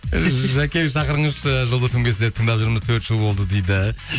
і жәке шақырыңызшы жұлдыз фм ге сізді тыңдап жүрміз төрт жыл болды дейді